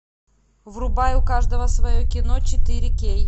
врубай у каждого свое кино четыре кей